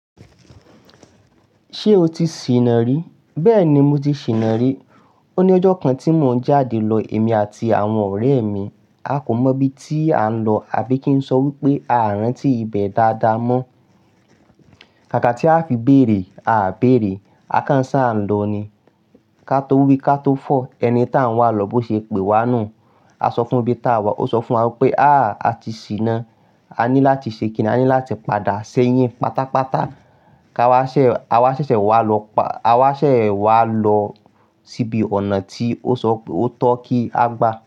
Ṣé o ti ṣìnà rí? Bẹ́ẹ̀ ni mo ti ṣìnà rí. Ó ní ọjọ́ kan tí mò ń jáde lọ, èmi àti àwọn ọ̀rẹ́ mi. A kò mọ ibi tí à ń lọ àbí kí n sọ wípé a rántí ibẹ̀ dáadáa mọ́. Kàkà tí a fi béèrè, a béèrè, a kàn ṣa ń lọ ni. Ka tó wí ka tó fọ̀, ẹni tá ń wá lọ bó ṣe pè wá nù. A sọ fún un ibi tá wà, ó sọ fún wa wípé, à à ti ṣìnà. A ní láti ṣe kíni, a ní láti padà sẹ́yìn pátápátá. Ka wá ṣè, a wá ṣẹ̀ṣẹ̀ wá lọ pa, a wá ṣẹ̀ wá lọ síbi ọ̀nà tí ó sọ pé ó tọ́ kí á gba.